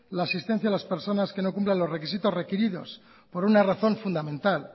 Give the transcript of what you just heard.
la asistencia a las personas que no cumplan los requisitos requeridos por una razón fundamental